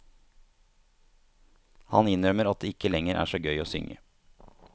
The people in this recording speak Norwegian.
Han innrømmer at det ikke lenger er så gøy å synge.